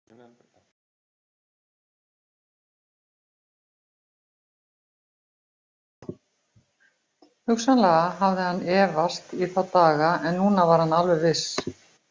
Hugsanlega hafði hann efast í þá daga en núna var hann alveg viss.